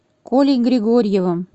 колей григорьевым